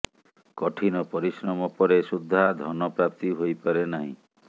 କଠିନ ପରିଶ୍ରମ ପରେ ସୁଦ୍ଧା ଧନ ପ୍ରାପ୍ତି ହୋଇପାରେ ନାହିଁ